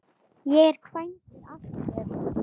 Ég er kvæntur aftur.